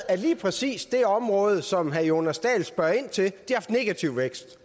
at lige præcis det område som herre jonas dahl spørger ind til har haft negativ vækst